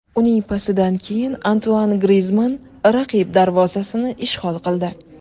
Uning pasidan keyin Antuan Grizmann raqib darvozasini ishg‘ol qildi.